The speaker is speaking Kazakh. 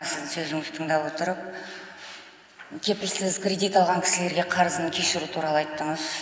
сіздің сөзіңізді тыңдап отырып кепілсіз кредит алған кісілерге қарызын кешіру туралы айттыңыз